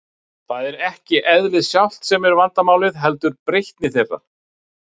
Það er ekki eðlið sjálft sem er vandamálið, heldur breytni þeirra.